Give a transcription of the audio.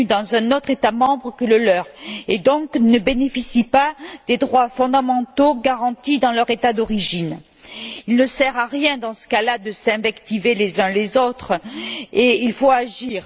En conséquence, ils ne bénéficient pas des droits fondamentaux garantis dans leur État d'origine. Il ne sert à rien dans ce cas là de s'invectiver les uns les autres, il faut agir.